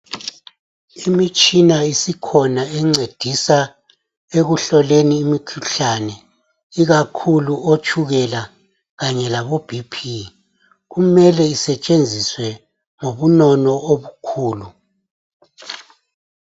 Imitshina isikhona encedisa ekuhloleni imikhuhlane ikakhulu otshukela kanye labo BP, kumele isetshenziswe ngobunono obukhulu